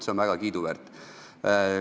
See on väga kiiduväärt.